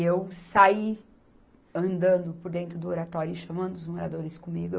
E eu saí andando por dentro do Oratório e chamando os moradores comigo.